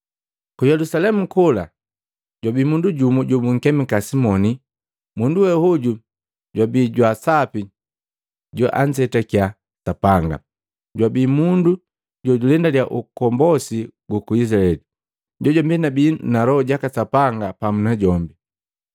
Ku Yelusalemu kola jwabi mundu jumu jobunkemika Simoni. Mundu we hoju jwabi jwa sapi joanzetakya Sapanga, jojuwe jwabi mundu jojulendalya ukombosi guku Izilaeli, najombi jwabii na Loho jaka Sapanga pamu na jombi.